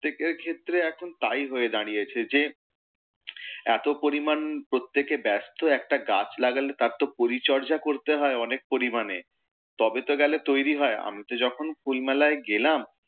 ক্ষেত্রে এখন তাই হয়ে দাঁড়িয়েছে, যে এতো পরিমাণ প্রত্যেকে ব্যস্ত একটা গাছ লাগালে, তার তো পরিচর্যা করতে হয় অনেক পরিমাণে, তবে তো গেলে তৈরী হয়, আমি তো যখন ফুল মেলায় গেলাম,